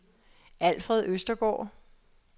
Alfred Østergaard